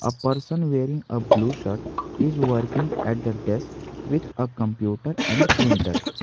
a person wearing a blue shirt is working at the desk with a computer and printer.